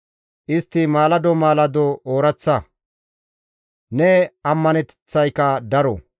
Istti maalado maalado ooraththa; Ne ammaneteththayka daro.